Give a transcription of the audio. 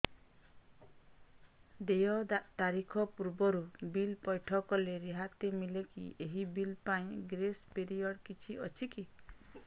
ଦେୟ ତାରିଖ ପୂର୍ବରୁ ବିଲ୍ ପୈଠ କଲେ ରିହାତି ମିଲେକି ଏହି ବିଲ୍ ପାଇଁ ଗ୍ରେସ୍ ପିରିୟଡ଼ କିଛି ଅଛିକି